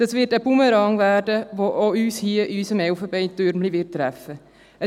Daraus wird ein Bumerang, der auch uns hier in unserem Elfenbeintürmchen treffen wird.